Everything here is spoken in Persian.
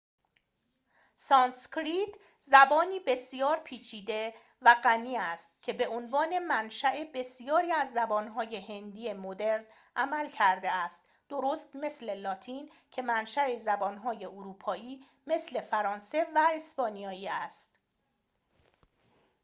سانسکریت زبانی بسیار پیچیده و غنی است که به‌عنوان منشاء بسیاری از زبان‌های هندی مدرن عمل کرده است درست مثل لاتین که منشاء زبان‌های اروپایی مثل فرانسه و اسپانیایی است